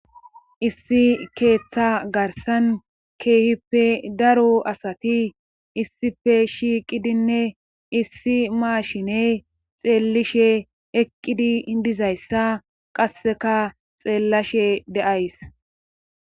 issi keeththa garsan keehippe daro asati issife shiiqidinne issi maashine xeellishe eqqidi dizayssa qasseka xeellashe de7ays